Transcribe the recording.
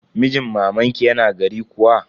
Mijin mamanki yana gari kuwa?